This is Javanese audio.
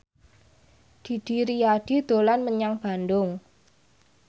Didi Riyadi dolan menyang Bandung